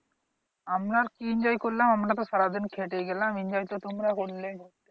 আমরা আর কি enjoy করলাম? আমরা তো খেটেই গেলাম enjoy তো তোমরা করলে।